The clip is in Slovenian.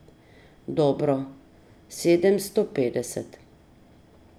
Dobro, sedemsto petdeset.